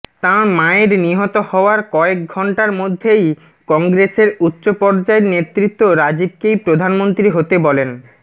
তাঁর মায়ের নিহত হওয়ার কয়েক ঘণ্টার মধ্যেই কংগ্রেসের উচ্চ পর্যায়ের নেতৃত্ব রাজীবকেই প্রধানমন্ত্রী হতে বলেন